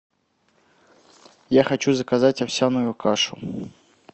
я хочу заказать овсяную кашу